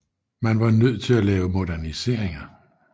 Man var nødt til at lave moderniseringer